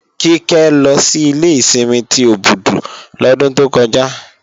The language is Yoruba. Kíkẹ́ lọ sí ilé ìsinmi ti Òbùdù lọ́dún tó kọjá